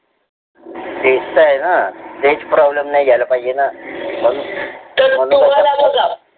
तेच त आहे ना तेच problem नाही झाले पाहिजे ना